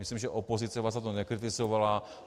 Myslím, že opozice vás za to nekritizovala.